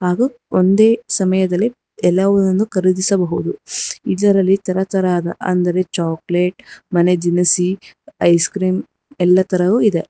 ಹಾಗೂ ಒಂದೇ ಸಮಯದಲ್ಲಿ ಎಲ್ಲವನ್ನು ಖರೀದಿಸಬಹುದು ಇದರಲ್ಲಿ ತರತರಹದ ಅಂದರೆ ಚಾಕಲೇಟ್ ಮನೆ ದಿನಸಿ ಐಸ್ ಕ್ರೀಮ್ ಎಲ್ಲಾ ತರವೂ ಇದೆ.